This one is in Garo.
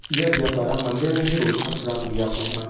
ia biapara manderangni rochakram biap ong·a.